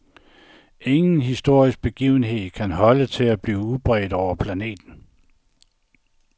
Ingen historisk begivenhed kan holde til at blive udbredt over planeten.